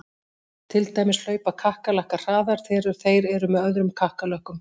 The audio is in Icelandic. Til dæmis hlaupa kakkalakkar hraðar þegar þeir eru með öðrum kakkalökkum!